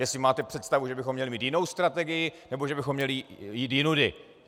Jestli máte představu, že bychom měli mít jinou strategii nebo že bychom měli jít jinudy.